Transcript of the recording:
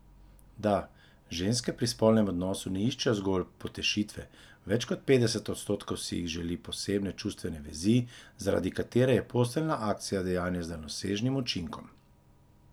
Da, ženske pri spolnem odnosu ne iščejo zgolj potešitve, več kot petdeset odstotkov si jih želi posebne čustvene vezi, zaradi katere je posteljna akcija dejanje s daljnosežnim učinkom.